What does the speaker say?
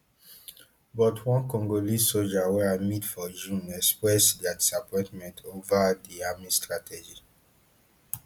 but one congolese soja wey i meet for june express dia disappointment ova di army strategy